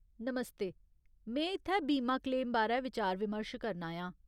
नमस्ते, में इत्थै बीमा क्लेम बारै विचार विमर्श करन आयां।